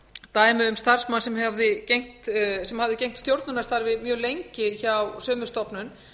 dæmi um starfsmann sem hafði gegnt stjórnunarstarfi mjög lengi hjá sömu stofnun